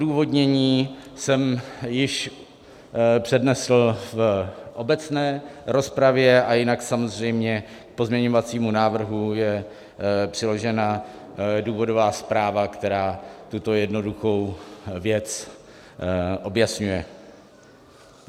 Odůvodnění jsem již přednesl v obecné rozpravě a jinak samozřejmě k pozměňovacímu návrhu je přiložena důvodová zpráva, která tuto jednoduchou věc objasňuje.